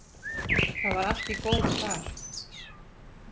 Það var allt í góðu þar.